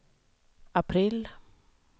april